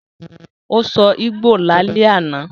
Ó sọ Ìgbò lálẹ́ àná